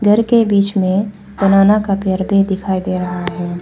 घर के बीच में बनाना का पेड़ भी दिखाई दे रहा है।